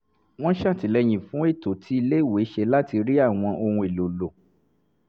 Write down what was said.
wọ́n ṣètìlẹ́yìn fún ètò tí iléèwé ṣe láti rí àwọn ohun èlò lò